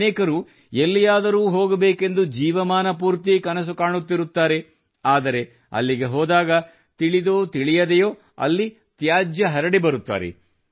ಅನೇಕರು ಎಲ್ಲಿಯಾದರೂ ಹೋಗಬೇಕೆಂದು ಜೀವಮಾನ ಪೂರ್ತಿ ಕನಸು ಕಾಣುತ್ತಿರುತ್ತಾರೆ ಆದರೆ ಅಲ್ಲಿಗೆ ಹೋದಾಗ ತಿಳಿದೋ ತಿಳಿಯದೆಯೋ ಅಲ್ಲಿ ತ್ಯಾಜ್ಯ ಹರಡಿ ಬರುತ್ತಾರೆ